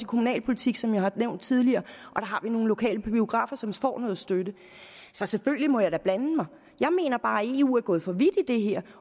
kommunalpolitik som jeg har nævnt tidligere og nogle lokale biografer som får noget støtte så selvfølgelig må jeg da blande mig jeg mener bare eu er gået for vidt i det her